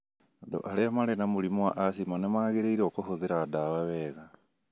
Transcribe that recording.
Andũ arĩa marĩ na mũrimũ wa asthma nĩ magĩrĩirũo kũhũthĩra ndawa wega.